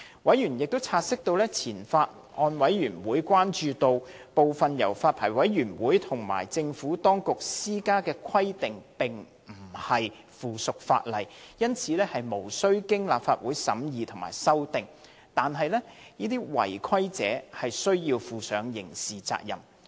委員察悉前法案委員會關注到，部分由發牌委員會及政府當局施加的規定並非附屬法例，因而無須經立法會審議及修訂。但是，違規者須負上刑事責任。